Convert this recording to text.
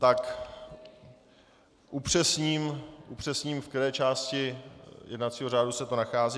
Tak upřesním, v které části jednacího řádu se to nachází.